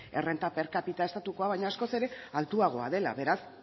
errenta per capita estatukoa baina askoz ere altuagoa dela beraz